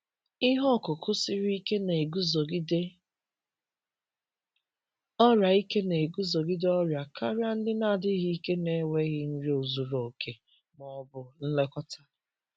Ihe ọkụkụ siri ike na-eguzogide ọrịa ike na-eguzogide ọrịa karịa ndị na-adịghị ike n’enweghị nri zuru oke ma ọ bụ nlekọta.